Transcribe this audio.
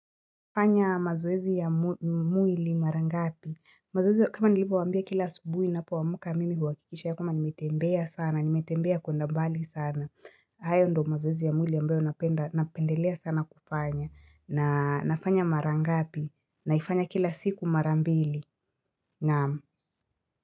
Fanya mazoezi ya mwili mara ngapi. Mazoezi kama nilipo waambia kila subuhi napoamka mimi huakikisha kama nimetembea sana, nimetembea kwenda mbali sana. Hayo ndio mazoezi ya mwili ambayo napendelea sana kufanya na nafanya mara ngapi naifanya kila siku mara mbili. Naam.